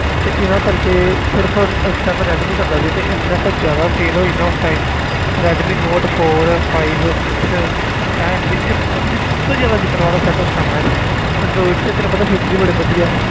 ਤੇ ਇਹਨਾਂ ਕਰਕੇ ਸਿਰਫ਼ ਉਸ time ਰੈਡਮੀ ਚੱਲਦਾ ਸੀ ਤੇ ਇੰਨਾ ਕੁ ਜ਼ਿਆਦਾ sale ਹੋਈ ਨਾ ਉਸ time Redmi note four five six ਮਤਲਬ ਕਿ ਸਭ ਤੋਂ ਜ਼ਿਆਦਾ ਵਿੱਕਣ ਵਾਲਾ set ਉਸ time ਇਹ ਸੀ android 'ਚ ਤੈਨੂੰ ਪਤਾ feature ਹੀ ਬੜੇ ਵਧੀਆ।